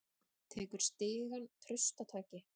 Tekur stigann traustataki.